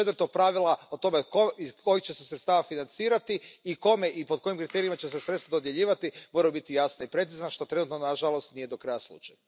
I četvrto, pravila iz kojih će se sredstava financirati i kome i pod kojim kriterijima će se sredstva dodjeljivati moraju biti jasna i precizna što trenutno nažalost nije do kraja slučaj.